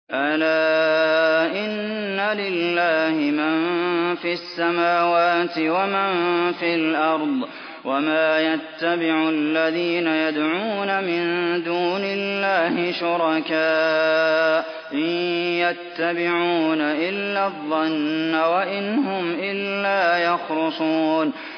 أَلَا إِنَّ لِلَّهِ مَن فِي السَّمَاوَاتِ وَمَن فِي الْأَرْضِ ۗ وَمَا يَتَّبِعُ الَّذِينَ يَدْعُونَ مِن دُونِ اللَّهِ شُرَكَاءَ ۚ إِن يَتَّبِعُونَ إِلَّا الظَّنَّ وَإِنْ هُمْ إِلَّا يَخْرُصُونَ